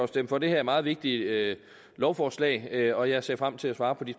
stemme for det her meget vigtige lovforslag og jeg ser frem til at svare på de